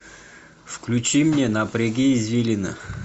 включи мне напряги извилины